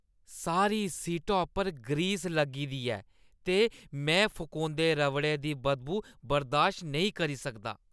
सारी सीटा उप्पर ग्रीस लग्गी गेदी ऐ ते में फकोंदे रबड़ै दी बदबू बर्दाश्त नेईं करी सकदा।